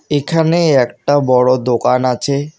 এখানে একটা বড় দোকান আছে।